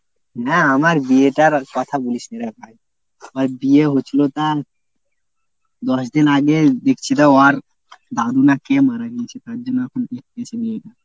না আমার বিয়েটার আর কথা বলিসনে রে ভাই। আমার বিয়ে হচ্ছিল তা দশ দিন আগে ওর দাদু না কে মারা গিয়েছে তার জন্য এখন date পিছে